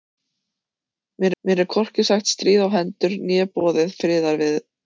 Mér er hvorki sagt stríð á hendur né boðið til friðarviðræðna.